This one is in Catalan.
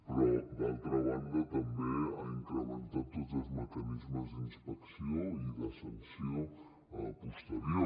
però d’altra banda també ha incrementat tots els mecanismes d’inspecció i de sanció posterior